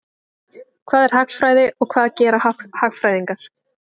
Hvað er hagfræði og hvað gera hagfræðingar?